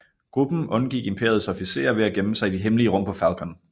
Gruppen undgik Imperiets officerer ved at gemme sig i de hemmelige rum på Falcon